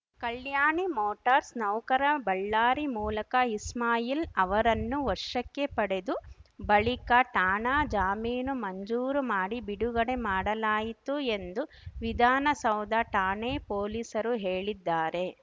ಕಲ್ಯಾಣಿ motors ನೌಕರ ಬಳ್ಳಾರಿ ಮೂಲಕ ಇಸ್ಮಾಯಿಲ್‌ ಅವರನ್ನು ವಶಕ್ಕೆ ಪಡೆದು ಬಳಿಕ ಠಾಣಾ ಜಾಮೀನು ಮಂಜೂರು ಮಾಡಿ ಬಿಡುಗಡೆ ಮಾಡಲಾಯಿತು ಎಂದು ವಿಧಾನಸೌಧ ಠಾಣೆ ಪೊಲೀಸರು ಹೇಳಿದ್ದಾರೆ